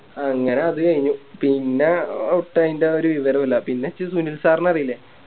അങ്ങനെ അത് കയിഞ്ഞു പിന്നെ ഔട്ടായിൻറെ ഒര് വിവരോ ഇല്ല പിന്ന ഇനിച്ച് സുനിൽ Sir നെ അറീല്ലേ